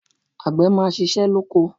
Àgbè máa ṣíṣe lóko.